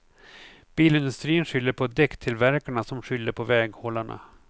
Bilindustrin skyller på däcktillverkarna som skyller på väghållarna.